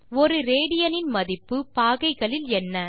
1 rad இன் மதிப்பு பாகைகளில் என்ன